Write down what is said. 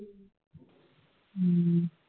ਹੂ